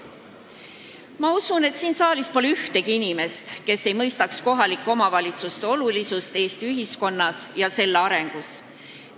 Ma usun, et siin saalis pole ühtegi inimest, kes ei mõistaks kohalike omavalitsuste olulisust Eesti ühiskonnas ja selle arengus.